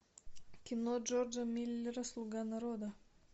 кино джорджа миллера слуга народа